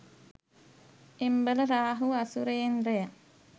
එම්බල Rahu අසුරේන්ද්‍රය,